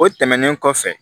O tɛmɛnen kɔfɛ